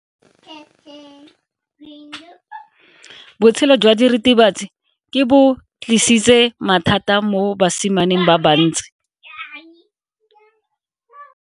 Botshelo jwa diritibatsi ke bo tlisitse mathata mo basimaneng ba bantsi.